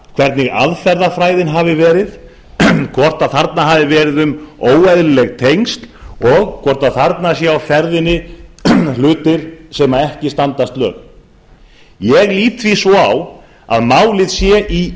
hvernig aðferðafræðin hafi verið hvort þarna hafi verið um óeðlileg tengsl að ræða og hvort þarna séu á ferðinni hlutir sem ekki standast lög ég lít því svo á að málið sé í